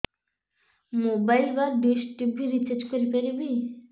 mobile ବା dish TV recharge କରି ପାରିବି